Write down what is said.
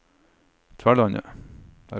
Tverlandet